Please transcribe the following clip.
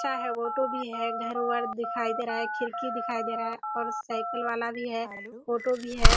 अच्छा है ऑटो भी भर वर दिखाई दे रहा है खिड़की दिखाई दे रही है और साईकिल वाला भी है ऑटो भी है।